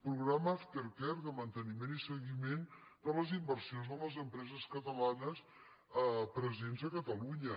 programa aftercare de manteniment i seguiment de les inversions de les empreses catalanes presents a catalunya